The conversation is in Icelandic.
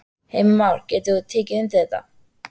Heimir Már: Getur þú tekið undir það?